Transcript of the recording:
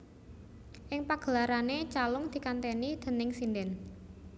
Ing pagelarane calung dikanteni déning sindhen